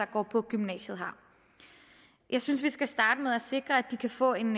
går på gymnasiet har jeg synes vi skal starte med at sikre at de kan få en